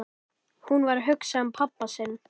Hún var að hugsa um pabba sinn.